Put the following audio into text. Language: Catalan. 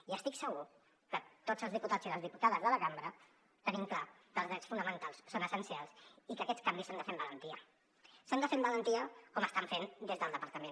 i estic segur que tots els diputats i les diputades de la cambra tenim clar que els drets fonamentals són essencials i que aquests canvis s’han de fer amb valentia s’han de fer amb valentia com ho estan fent des del departament